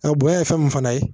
A bonya ye fɛn min fana ye